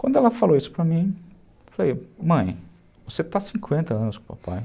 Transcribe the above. Quando ela falou isso para mim, eu falei, mãe, você está há cinquenta anos com o papai.